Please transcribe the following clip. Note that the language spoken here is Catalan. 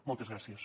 moltes gràcies